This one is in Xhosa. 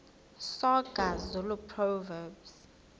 soga zulu proverbs